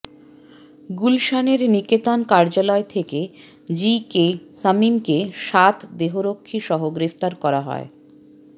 গুলশানের নিকেতন কার্যালয় থেকে জি কে শামীমকে সাত দেহরক্ষীসহ গ্রেফতার করা হয়